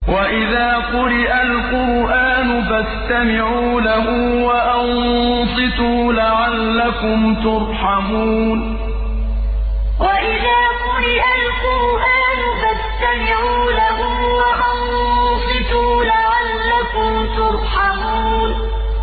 وَإِذَا قُرِئَ الْقُرْآنُ فَاسْتَمِعُوا لَهُ وَأَنصِتُوا لَعَلَّكُمْ تُرْحَمُونَ وَإِذَا قُرِئَ الْقُرْآنُ فَاسْتَمِعُوا لَهُ وَأَنصِتُوا لَعَلَّكُمْ تُرْحَمُونَ